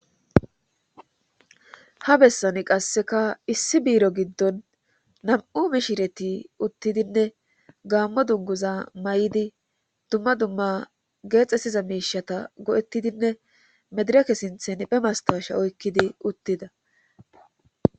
ha bessani qasseka issi biiro giddon nam7u mishireti uttidinne gaammo dunguza may7idi dumma dumma geexxesiza meishata go7ettidinne medireke sinthen pemastaasha oykkidi uttida